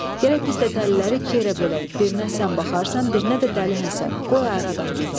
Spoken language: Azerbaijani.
Gərək biz də dəliləri iki yerə bölək, birinə sən baxarsan, birinə də Dəli Həsən, qoy ayrı adam getsin."